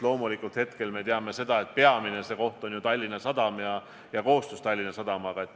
Loomulikult käib peamine koostöö selles osas Tallinna Sadamaga.